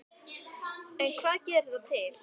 En hvað gerir það til